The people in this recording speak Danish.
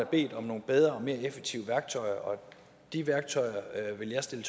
bedt om nogle bedre og mere effektive værktøjer og de værktøjer vil jeg stille